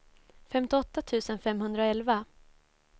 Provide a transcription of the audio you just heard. femtioåtta tusen femhundraelva